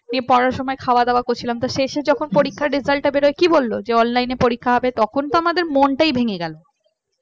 নিয়ে পড়াশোনা খাওয়া-দাওয়া করছিলাম তো শেষে যখন পরীক্ষার result টা বেরায় কি বলল যে online এ পরীক্ষা হবে তখন তো আমাদের মনটাই ভেঙ্গে গেল